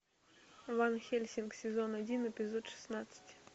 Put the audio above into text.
ван хельсинг сезон один эпизод шестнадцать